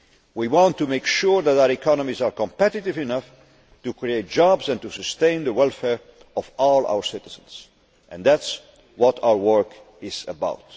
We want to make sure that our economies are competitive enough to create jobs and to sustain the welfare of all our citizens and that is what our work is about.